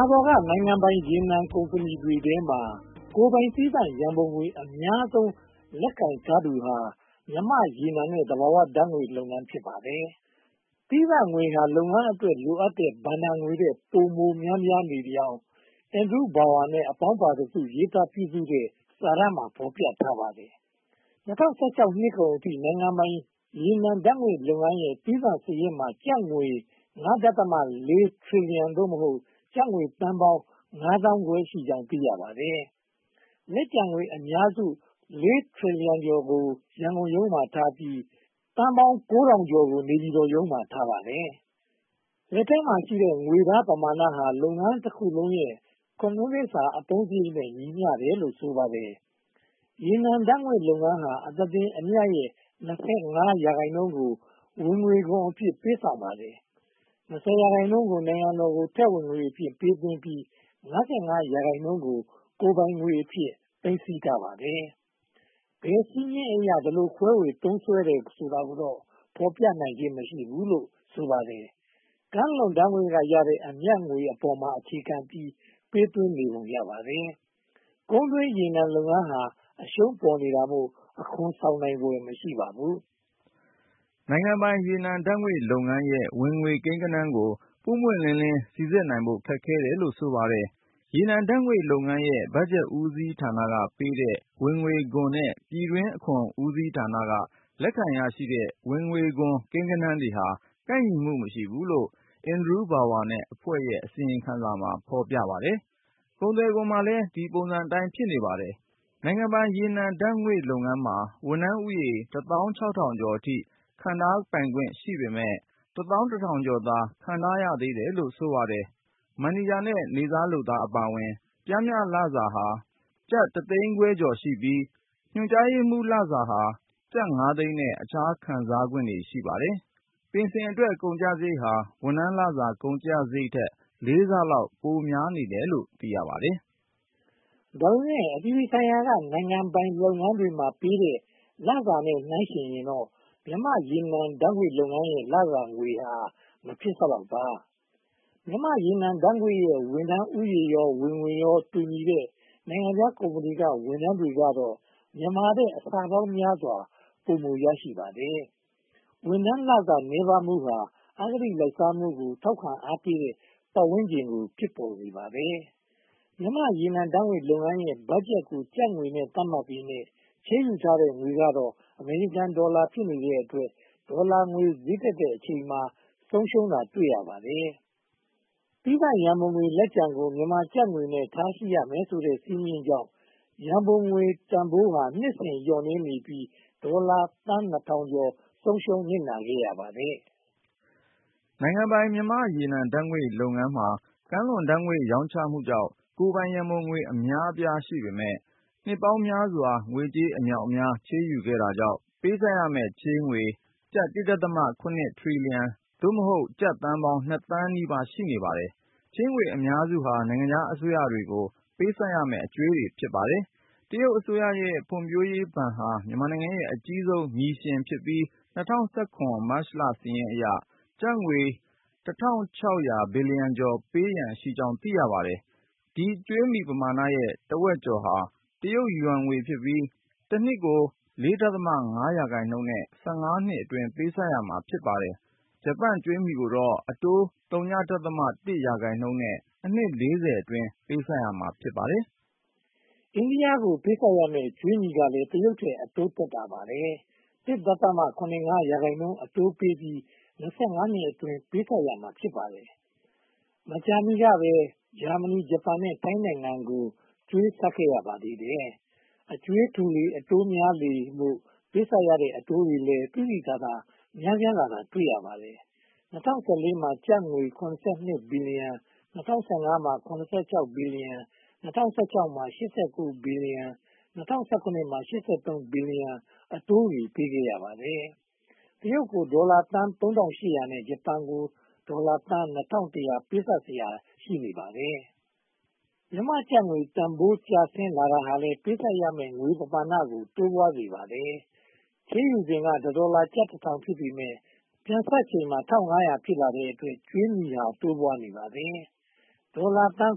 ာပေါ်က နိုင်ငံပိုင်ရေနံကုမ္ပဏီတွေထဲမှာ ကိုယ်ပိုင်သီးသန့်ရန်ပုံငွေ အများဆုံးလက်ကိုင်ထားသူဟာ မြန်မာ့ရေနံနဲ့ သဘာဝဓါတ်ငွေ့လုပ်ငန်း ဖြစ်ပါတယ်။ သီးသန့်ငွေဟာ လုပ်ငန်းအတွက် လိုအပ်တဲ့ဘဏ္ဍာငွေထက် ပိုမိုများနေကြောင်း အင်ဒရူးဘောင်ဝါ နဲ့ အပေါင်းပါတစု ရေးသားပြုစုတဲ့စာတမ်းမှာ ဖော်ပြထားပါတယ်။ ၂၀၁၆ နှစ်ကုန်အထိ နိုင်ငံပိုင်ရေနံဓါတ်ငွေ့လုပ်ငန်းရဲ့ သီးသန့်စာရင်းမှာ ကျပ်ငွေ (၅.၄) ထရီလီယံ (သို့မဟုတ်) ကျပ်ငွေ သန်းပေါင်း (၅) သန်းခွဲရှိကြောင်း သိရပါတယ်။ လက်ကျန်ငွေအများစု (၄) ထရီလီယံကျော်ကို ရန်ကုန်ရုံးမှာထားပြီး (၉၅၃) ဘီလီယံကို နေပြည်တော်ရုံးမှာ ထားပါတယ်။ လက်ထဲမှာရှိတဲ့ ငွေသားပမာဏဟာ လုပ်ငန်းတခုလုံးရဲ့ (၇) နှစ်စာ အသုံးစရိတ်နဲ့ ညီမျှတယ်လို့ ဆိုပါတယ်။ ရေနံဓါတ်ငွေ့လုပ်ငန်းဟာ အသားတင်အမြတ်ရဲ့ (၂၅) ရာခိုင်နှုန်းကို ဝင်ငွေခွန်အဖြစ် ပေးဆောင်ပါတယ်။ (၂၀) ရာခိုင်နှုန်းကို နိုင်ငံတော်သို့ ထည့်ဝင်ငွေအဖြစ် ပေးသွင်းပြီး (၅၅) ရာခိုင်နှုန်းကို ကိုယ်ပိုင်ငွေအဖြစ် သိမ်းဆည်းထားပါတယ်။ ဘယ်စည်းမျဉ်းအရ ဒီလိုခွဲဝေသုံးစွဲတယ်ဆိုတာကိုတော့ ဖော်ပြနိုင်ခြင်း မရှိဘူးလို့ ဆိုပါတယ်။ ကမ်းလွန်ဓါတ်ငွေ့ကရတဲ့ အမြတ်ငွေအပေါ်မှာ အခြေခံပြီး ပေးသွင်းနေပုံရပါတယ်။ ကုန်းတွင်းရေနံလုပ်ငန်းဟာ အရှုံးပေါ်နေတာမို့ အခွန်ဆောင်နိုင်ဖွယ် မရှိပါဘူး။ နိုင်ငံပိုင်ရေနံဓါတ်ငွေ့လုပ်ငန်းရဲ့ ဝင်ငွေကိန်းဂဏန်းကို ပွင့်ပွင့်လင်းလင်း စီစဉ်နိုင်ဖို့ ခက်ခဲတယ်လို့ ဆိုပါတယ်။ ရေနံဓါတ်ငွေ့လုပ်ငန်းရဲ့ ဘက်ဂျက်ဦးစီးဌာနပေးတဲ့ ဝင်ငွေခွန်နဲ့ ပြည်တွင်းအခွန်ဦးစီးဌာန လက်ခံရရှိတဲ့ ဝင်ငွေခွန်ကိန်းဂဏန်းတွေဟာ ကိုက်ညီမှုမရှိဘူးလို့ အင်ဒရူးဘောင်ဝါနဲ့ အဖွဲ့ရဲ့ အစီရင်ခံစာမှာ ဖော်ပြပါတယ်။ ကုန်သွယ်ခွန်မှာလည်း ဒီပုံစံအတိုင်း ဖြစ်နေပါတယ်။ နိုင်ငံပိုင်ရေနံဓါတ်ငွေ့လုပ်ငန်းမှာ ဝန်ထမ်းဦးရေ (၁၆၇၆၄) အထိ ခန့်ထားပိုင်ခွင့်ရှိပေမယ့် (၁၁၂၄၀) သာ ခန့်ထားရသေးတယ်လို့ ဆိုပါတယ်။ မန်နေဂျာနဲ့ နေ့စားလုပ်သားအပါအဝင် ပျမ်းမျှလစာဟာ ကျပ် (၁၅၄၀၀၀) ဖြစ်ပြီး ညွှန်ကြားရေးမှူးလစာဟာ ကျပ်ငါးသိန်းနဲ့ အခြားအကျိုးခံစားခွင့် တွေ့ရပါတယ်။ ပင်စင်အတွက် ကုန်ကျစရိတ်ဟာ ဝန်ထမ်းလစာ ကုန်ကျစရိတ်ထက် လေးဆလောက် ပိုများနေတယ်လို့ ဆိုပါတယ်။ ဒါပေမဲ့ အပြည်ပြည်ဆိုင်ရာက နိုင်ငံပိုင်လုပ်ငန်းတွေမှာ ပေးတဲ့လစာနဲ့ နှိုင်းယှဉ်ရင်တော့ မြန်မာ့ရေနံဓါတ်ငွေ့လုပ်ငန်းရဲ့ လစာငွေဟာ မဖြစ်စလောက်ပါ။ မြန်မာ့ရေနံဓါတ်ငွေ့နဲ့ ဝန်ထမ်းဦးရေရော ဝင်ငွေရော တူညီတဲ့ နိုင်ငံခြားကုမ္ပဏီက ဝန်ထမ်းတွေကတော့ မြန်မာထက် အဆပေါင်းများစွာ ပိုမိုရရှိပါတယ်။ ဝန်ထမ်းလစာ နည်းပါးမှုဟာ အဂတိလိုက်စားမှုကို ထောက်ခံအားပေးတဲ့ ပတ်ဝန်းကျင်ကို ဖြစ်ပေါ်စေပါတယ်။ မြန်မာ့ရေနံဓါတ်ငွေ့လုပ်ငန်းရဲ့ ဘတ်ဂျက်ကိုကျပ်ငွေနဲ့ သတ်မှတ်ပေမယ့် ချေးယူထားတဲ့ငွေကတော့ အမေရိကန်ဒေါ်လာ ဖြစ်နေတဲ့အတွက် ဒေါ်လာငွေဈေးတက်တဲ့အချိန်မှာ ဆုံးရှုံးတာတွေ ရှိပါတယ်။ သီးသန့်ရန်ပုံငွေလက်ကျန်ကို မြန်မာကျပ်ငွေနဲ့ ထားရှိရမယ်ဆိုတဲ့ စည်းမျဉ်းကြောင့် ရန်ပုံငွေတန်းဖိုးဟာ နှစ်စဉ်လျော့နည်းနေပြီး ဒေါ်လာသန်း (၂၀၀၀) ကျော် ဆုံးရှုံးနစ်နာခဲ့ရပါတယ်။ နိုင်ငံပိုင်မြန်မာ့ရေနံဓါတ်ငွေလုပ်ငန်းမှာ ကမ်းလွန်ဓါတ်ငွေ့ရောင်းချမှုကြောင့် ကိုယ်ပိုင်ရန်ပုံငွေ အများအပြား ရှိနေပေမယ့် နှစ်ပေါင်းများစွာ ငွေကြေးအမြောက်အများ ချေးယူခဲ့တာကြောင့် ပေးဆပ်ရမယ့် ချေးငွေကျပ် (၁.၇) ထရီလီယံ (သို့မဟုတ်) ကျပ်သန်းပေါင်း (၂) သန်းနီးပါး ရှိနေပါတယ်။ ချေးငွေအများစုဟာ နိုင်ငံခြားအစိုးရတွေကို ပေးဆပ်ရမယ့် အကြွေးတွေ ဖြစ်ပါတယ်။ တရုတ်အစိုးရရဲ့ ဖွံ့ဖြိုးရေးဘဏ်ဟာ မြန်မာရဲ့ အကြီးဆုံးမြီရှင် ဖြစ်ပြီး ၂၀၁၇ မတ်လစာရင်းအရ ကျပ်ငွေ (၁၆၄၁) ဘီလီယံ ပေးရန်ရှိကြောင်း သိရပါတယ်။ ဒီကြွေးမြီပမာဏရဲ့ တဝက်ကျော်ဟာ တရုတ်ယွမ်ငွေဖြစ်ပြီး တနှစ် (၄.၅) ရာခိုင်နှုန်းနဲ့ (၁၅) နှစ်အတွင်း ပေးဆပ်ရမှာ ဖြစ်ပါတယ်။ ဂျပန်ကြွေးမြီကိုတော့ အတိုး (ဝ.၀၁) ရာခိုင်နှုန်းနဲ့ အနှစ် (၄၀) အတွင်း ပေးဆပ်ရမှာ ဖြစ်ပါတယ်။ အိန္ဒိယကို ပေးဆပ်ရမယ့် ကြွေးမြီကလည်း တရုတ်ထက် အတိုးသက်သာပါတယ်။ (၁.၇၅) ရာခိုင်နှုန်း အတိုးပေးပြီး (၂၅) နှစ်အတွင်း ပေးဆပ်ရမှာ ဖြစ်ပါတယ်။ မကြာမီကပဲ ဂျာမဏီ၊ ဂျပန် နဲ့ ထိုင်းနိုင်ငံတွေကို ကြွေးဆပ်ခဲ့ပါသေးတယ်။ အကြွေးထူလေ အတိုးများလေမို့ ပေးဆပ်ခဲ့ရတဲ့ အတိုးတွေလည်း သိသိသာသာ များပြားလာတာ တွေ့ရပါတယ်။ ၂၀၁၄ မှာ (၈၃) ဘီလီယံ အတိုးတွေ ပေးခဲ့ရပါတယ်။ တရုတ်ကို ဒေါ်လာသန်း (၃၈၀၀) နဲ့ ဂျပန်ကို ဒေါ်လာသန်းပေါင်း (၂၁၀၀) ပေးဆပ်စရာ ရှိနေပါတယ်။ မြန်မာကျပ်ငွေတန်းဖိုး ကျဆင်းလာတာဟာလည်း ပေးဆပ်ရမယ့် ငွေပမာဏကို တိုးပွားစေပါတယ်။ ချေးယူစဉ်က တဒေါ်လာကျပ် (၁၀၀၀) ဖြစ်ပေမယ့် ပြန်ဆပ်ချိန်မှာ (၁၅၀၀) ဖြစ်လာတဲ့အတွက် ကြွေးမြီဟာ တိုးပွားနေပါတယ်။ ဒေါ်လာသန်း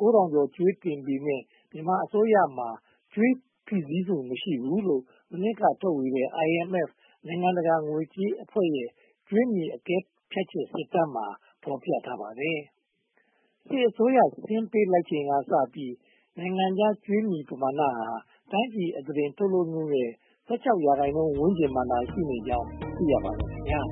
(၉၀၀၀) ကျော် ကြွေးတင်နေပေမယ့် မြန်မာအစိုးရမှာ ကြွေးဖိးစီးမှု မရှိဘူးလို့ မနှစ်ကထုတ်ဝေတဲ့ IMF နိုင်ငံတကာငွေကြေးအဖွဲ့ရဲ့ ကြွေးမြီအကဲဖြတ်ချက် စစ်တမ်းမှာ ဖော်ပြထားပါတယ်။ စစ်အစိုးရ ဆင်းပေးလိုက်ချိန်ကစပြီး နိုင်ငံခြားကြွေးပမာဏဟာ တိုင်းပြည်အသားတင် ထုတ်လုပ်မှုရဲ့ (၁၆) ရာခိုင်နှုန်း ဝန်းကျင်မှာသာရှိကြောင်း သိရှိရပါတယ်။